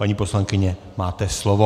Paní poslankyně, máte slovo.